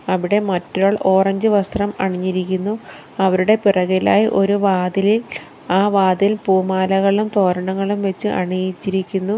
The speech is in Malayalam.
അവിടെ മറ്റൊരാൾ ഓറഞ്ച് വസ്ത്രം അണിഞ്ഞിരിക്കുന്നു അവരുടെ പിറകിലായി ഒരു വാതിലിൽ ആ വാതിൽ പൂമാലകളും തോരണങ്ങളും വെച്ച് അണിയിച്ചിരിക്കുന്നു.